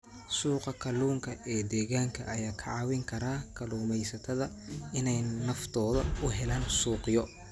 Suuqa kalluunka ee deegaanka ayaa ka caawin kara kalluumaysatada inay naftooda u helaan suuqyo.